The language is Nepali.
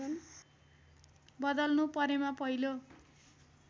बदल्नु परेमा पहिलो